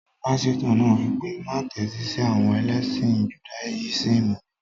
Pásítọ̀ náà wí pé, má tẹ́tí sí àwọn ẹlẹ́sìn judáyísìmì yẹn